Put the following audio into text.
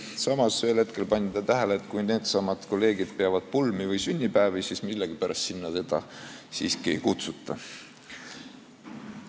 Samas pani ta ühel hetkel tähele, et kui needsamad kolleegid peavad pulmi või sünnipäevi, siis millegipärast sinna teda siiski ei kutsuta.